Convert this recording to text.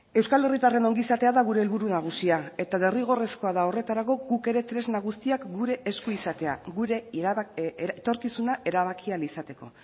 euskal herritarren ongizatea da gure helburu nagusia eta derrigorrezkoa da horretarako guk ere tresna guztiak gure esku izatea gure etorkizuna erabaki ahal izateko